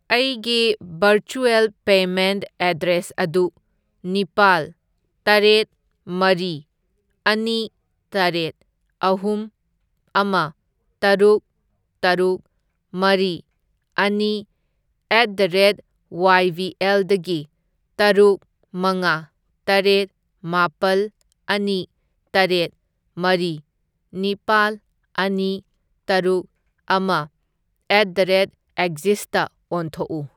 ꯑꯩꯒꯤ virtual payment address ꯑꯗꯨ ꯅꯤꯄꯥꯜ, ꯇꯔꯦꯠ, ꯃꯔꯤ, ꯑꯅꯤ, ꯇꯔꯦꯠ, ꯑꯍꯨꯝ, ꯑꯃ, ꯇꯔꯨꯛ, ꯇꯔꯨꯛ, ꯃꯔꯤ, ꯑꯅꯤ at the rate Y B ꯑꯦꯜꯗꯒꯤ ꯇꯔꯨꯛ ꯃꯉꯥ ꯇꯔꯦꯠ ꯃꯥꯄꯜ ꯑꯅꯤ ꯇꯔꯦꯠ ꯃꯔꯤ ꯅꯤꯄꯥꯜ ꯑꯅꯤ ꯇꯔꯨꯛ ꯑꯃ ꯑꯦꯠ ꯗ ꯔꯦꯠ ꯑꯦꯛꯖꯤꯁꯇ ꯑꯣꯟꯊꯣꯛꯎ꯫